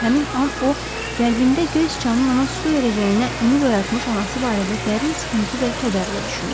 Həmin an o qəlbində göy siçanın ona su verəcəyinə ümid oyatmış anası barədə dərin sıxıntı və kədərlə düşündü.